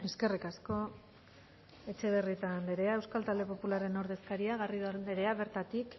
eskerrik asko etxebarrieta anderea euskal talde popularraren ordezkaria garrido anderea bertatik